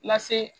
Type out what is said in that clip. Lase